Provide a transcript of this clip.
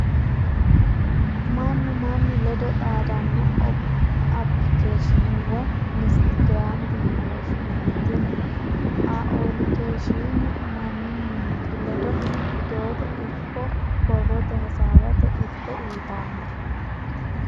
Manu manu ledo xaadano applikeeshine woyi instagramete yine woshinanni, tini aooilikeeshine manu mimitu lede widiote ikko brrotte hasawate iriko uuyitano